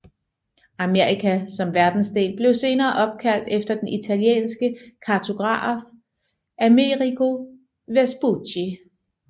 Amerika som verdensdel blev senere opkaldt efter den italienske kartograf Amerigo Vespucci